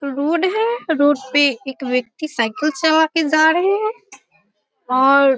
road है road पे एक व्यक्ति साइकिल चला के जा रहे है और--